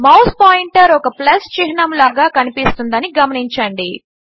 mouse pointer ఒక plus చిహ్నము లాగా కనిపిస్తుందని గమనించండి